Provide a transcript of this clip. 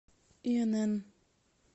инн